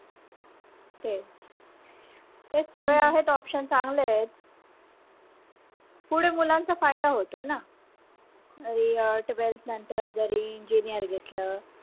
तेच सगळे आहेत option चांगले आहेत फुडें मुलांचा फायदा होतो ना नंतर जरी engineer घेतल